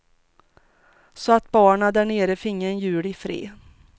Så att barnen därnere finge en jul ifred.